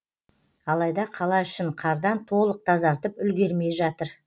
алайда қала ішін қардан толық тазартып үлгермей жатыр